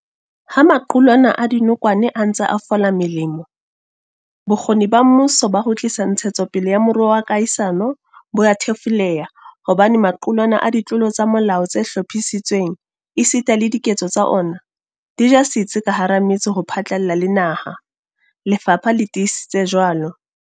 Ha maqulwana a dinokwane a ntse a fola melemo, bokgoni ba mmuso ba ho tlisa ntshetsopele ya moruo wa kahisano bo a thefuleha hobane maqulwana a ditlolo tsa molao tse hlophisitsweng esita le diketso tsa ona, di ja setsi ka hara metse ho phatlalla le naha, lefapha le tiisitse jwalo.